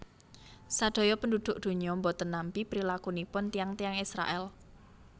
Sadaya penduduk dunya mboten nampi prilakunipun tiyang tiyang Israel